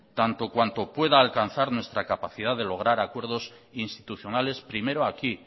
tanto cuando pueda alcanzar nuestra capacidad de lograr acuerdos institucionales primero aquí